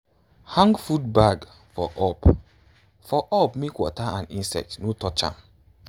hang food bag for up for up make water or insects no touch am.